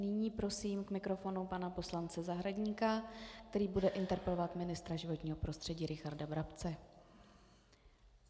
Nyní prosím k mikrofonu pana poslance Zahradníka, který bude interpelovat ministra životního prostředí Richarda Brabce.